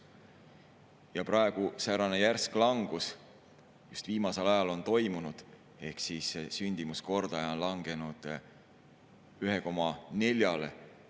Ja säärane järsk langus on just viimasel ajal toimunud: sündimuskordaja on langenud 1,4‑le.